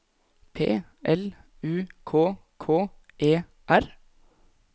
P L U K K E R